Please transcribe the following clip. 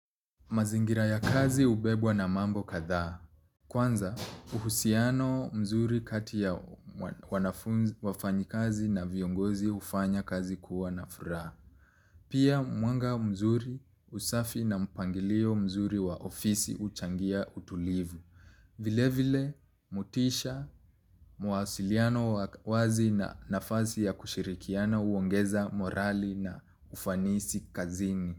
Mazingira ya kazi ubebwa na mambo kathaa. Kwanza, uhusiano mzuri kati ya wafanyi kazi na viongozi hufanya kazi kuwa na furaa. Pia, mwanga mzuri usafi na mpangilio mzuri wa ofisi uchangia utulivu. Vile vile, motisha, muasiliano wazi na nafasi ya kushirikiana uongeza morali na ufanisi kazini.